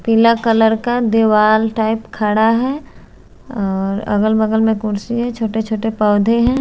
पीला कलर का दीवाल टाइप खड़ा है और अगल बगल में कुर्सी है छोटे छोटे पौधे हैं।